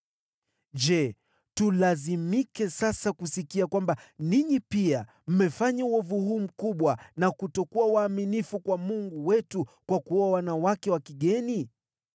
Je, tulazimike sasa kusikia kwamba ninyi pia mmefanya uovu huu mkubwa na kutokuwa waaminifu kwa Mungu wetu kwa kuoa wanawake wa kigeni?”